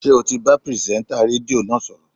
Ṣé ò ti bá pìrìsẹ́ńtà rédíò náà sọ̀rọ̀?